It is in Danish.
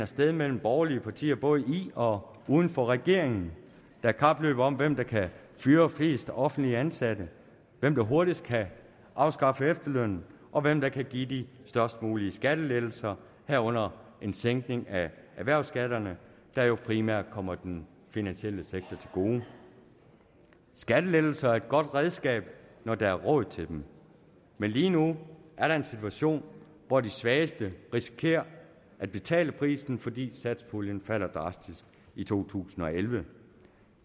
sted mellem borgerlige partier både i og uden for regeringen der er kapløb om hvem der kan fyre flest offentligt ansatte hvem der hurtigst kan afskaffe efterlønnen og hvem der kan give de størst mulige skattelettelser herunder en sænkning af erhvervsskatterne der jo primært kommer den finansielle sektor til gode skattelettelser er et godt redskab når der er råd til dem men lige nu er der en situation hvor de svageste risikerer at betale prisen fordi satspuljen falder drastisk i to tusind og elleve